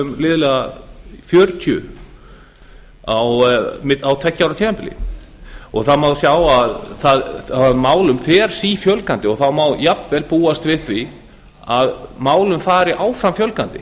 um liðlega fjörutíu á tveggja ára tímabili það má sjá að málum fer sífjölgandi og það má jafnvel búast við því að málum fari áfram fjölgandi